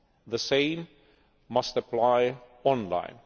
on. The same must apply online.